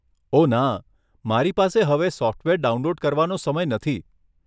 ઓહ ના, મારી પાસે હવે સોફ્ટવેર ડાઉનલોડ કરવાનો સમય નથી.